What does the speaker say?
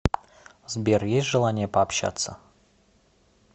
сбер есть желание пообщаться